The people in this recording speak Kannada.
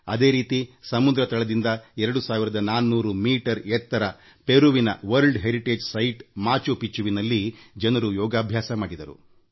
ಅದೇ ರೀತಿ ಪೆರುವಿನಲ್ಲಿ ಸಮುದ್ರ ಮಟ್ಟದಿಂದ 24೦೦ ಮೀಟರ್ ಎತ್ತರದ ವಿಶ್ವ ಪಾರಂಪರಿಕ ತಾಣಮಾಚು ಪಿಚ್ಚುವಿನಲ್ಲಿ ಜನರು ಯೋಗ ಪ್ರದರ್ಶನ ಮಾಡಿದರು